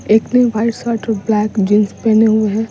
एकने white shirt और black jeans पहने हुए हैं --